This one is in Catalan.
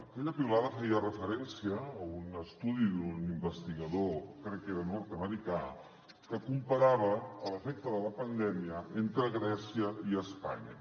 aquella piulada feia referència a un estudi d’un investigador crec que era nord americà que comparava l’efecte de la pandèmia entre grècia i espanya